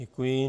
Děkuji.